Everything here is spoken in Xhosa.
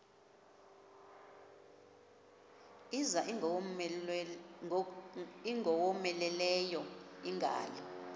kuza ingowomeleleyo ingalo